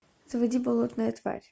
заводи болотная тварь